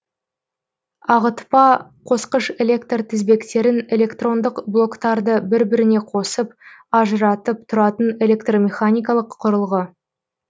ағытпа қосқыш электр тізбектерін электрондық блоктарды бір біріне қосып ажыратып тұратын электромеханикалық құрылғы